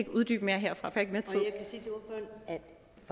uddybe mere herfra for jeg